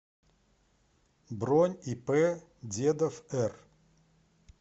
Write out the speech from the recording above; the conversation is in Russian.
бронь ип дедов р